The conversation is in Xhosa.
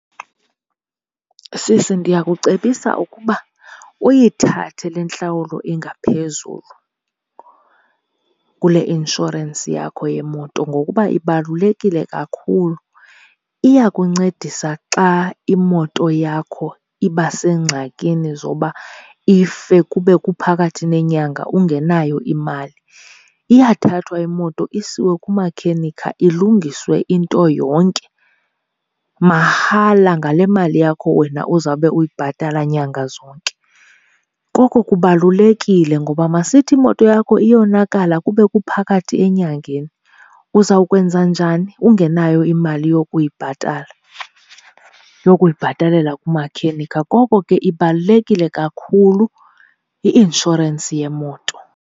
Sisi, ndiyakucebisa ukuba uyithathe le ntlawulo ingaphezulu kule inshorensi yakho yemoto ngokuba ibalulekile kakhulu iyakuncedisa xa imoto yakho iba sengxakini zoba ife kube kuphakathi nenyanga ungenayo imali. Iyathathwa imoto isiwe kumakhenikha ilungiswe into yonke mahala ngale mali yakho wena uzabe uyibhatala nyanga zonke. Koko kubalulekile, ngoba masithi imoto yakho iyonakala kube kuphakathi enyangeni. Uzawukwenza njani ungenayo imali yokuyibhatala, yokuyibhatalela kumakhenika? Koko ke ibalulekile kakhulu i-inshorensi yemoto.